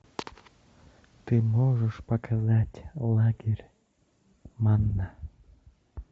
ты можешь показать лагерь манна